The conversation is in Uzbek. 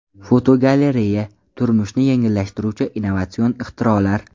Fotogalereya: Turmushni yengillashtiruvchi innovatsion ixtirolar.